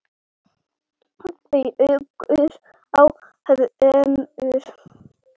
bjúgur á hvörmum